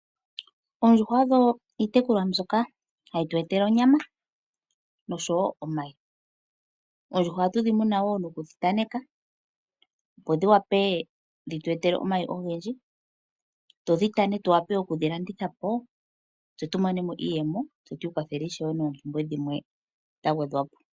Oondjuhwa odho iitekulwa mbyoka hayi zi onyama osho wo omayi. Oondjuhwa ohadhi munwa nokutanekwa dhi wape okuza omayi ogendji, dhi tane dhi vule okulandithwa po dhi ete iiyemo aantu ya vule okwiikwathela noompumbwe dhimwe dhagwedhwa po.